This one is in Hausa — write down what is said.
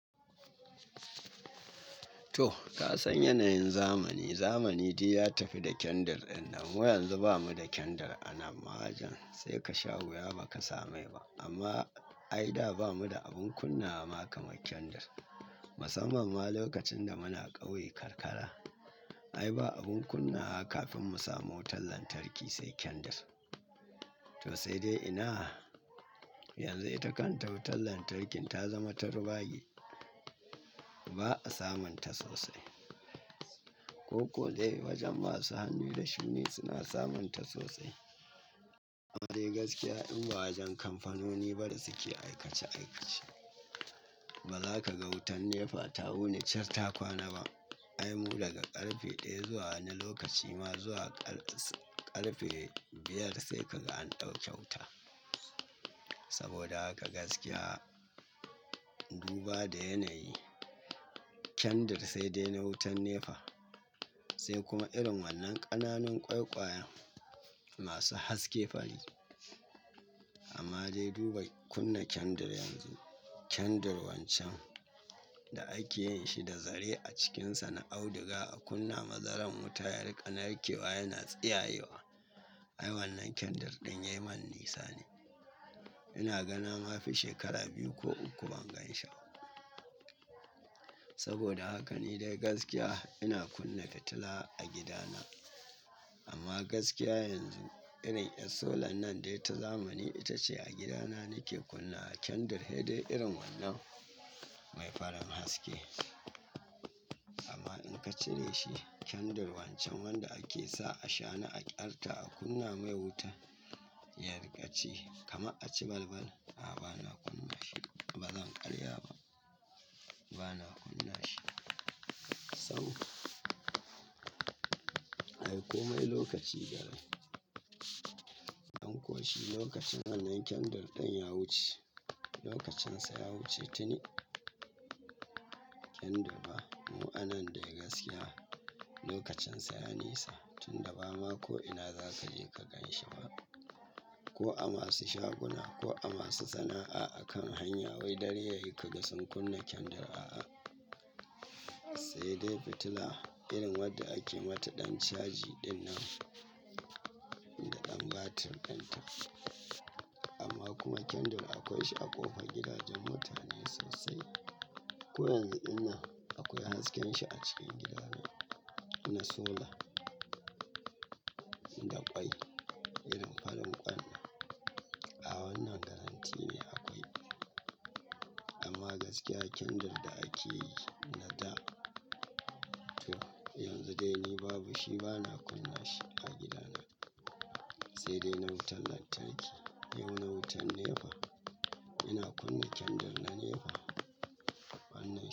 To ka san yanayin zamani. Zamani dai ya tafi da kyandir din nan. Yanzu bamu da kyandir a nan wajen sai ka sha wuya ba ka samai ba. Amma ai da ba mu da abin kunnawa ma kaman kyandir. Musamman ma lokacin da muna ƙauye karkara. Ai ba abin kunna kafin mu samu wutar lantarki sai kyandir. To sai dai ina yanzu ita kanta wutar lantarki ta zama ta rubage. Ba a samun ta sosai. Ko kuwa dai wajen masu hannu da shuni suna samun ta sosai. Amma dai gaskiya in ba wajen kamfanoni bada suke aikace aikace. Ba za ka ga wutar NEPA ta wuni cas ta kwana ba. Ai mu daga ƙarfe ɗaya zuwa wani lokaci ma zuwa ƙarfe biyar sai kaga an ɗauke wuta. Saboda haka gaskiya in duba da yanayi kyandir sai dai na wutar NEPA sai kuma irin wannan ƙananan ƙwaiƙwayen masu haske fari. Amma dai duba kunna kyandir yanzu. Kyandir wancan da ake yin shi da zare a cikinsa na auduga a kunna mazaran wuta ya riƙa narkewa yana tsiyayewa. Ai wannan kyandir ɗin yayi man nisa ne. Ina gani ma fi shekara biyu ko uku ban ganshi ba. Saboda haka ni dai gaskiya ina kunna fitila a gidana. Amma gaskiya yanzu irin ƴar solar nan dai ta zamani ita ce a gidana nake kunnawa kyandir saidai irin wannan mai farin haske. Amma in ka cire shi kyandir wancan wanda ake sa a shana a ƙyarta a kunna mai wuta ya riƙa ci kamar a ci balbal. A'a bana kunna shi ba zan ƙarya ba. Bana kunna shi. Sabo. Ai komai lokaci Garai. Anko shi lokacin wannan kyandir ɗin ya wuce. Lokacinsa ya wuce tini. Inda ba mu anan dai gaskiya lokacinsa ya nisa tun da ba ma ko ina za ka je ka ganshi ba. Ko a masu shaguna ko a masu sana'a a kan hanya wai dare yayi kaga sun kunna kyandir. A'a. Sai dai fitila irin wadda ake mata ɗan caji ɗinnan da ɗan batir ɗinta. Amma kuma kyandir akwai shi a ƙofar gidajen mutane sosai. Ko yanzu ina akwai hasken shi a cikin gidana. Muna solar da ƙwai irin farin ƙwannan. A wannan garanti ne akwai. Amma gaskiya kyandir da ake yi na da. To yanzu dai ni babu shi bana kunna shi a gidana. Sai dai na wutar lantarki. Dai mu na wutar NEPA ina kunna kyandir na NEPA wannan.